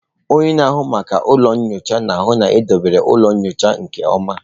Onye na-ahụ maka ụlọ nyocha na-ahụ na edobere ụlọ nyocha nke ọma.